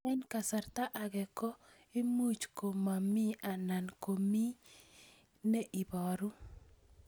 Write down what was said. Eng' kasarta ag'e ko much ko mii anan komamii ne ibaru